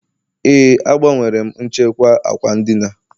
Ee, agbanwere m nchekwa ákwà ndina